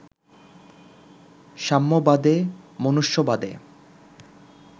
সাম্যবাদে, মনুষ্যবাদে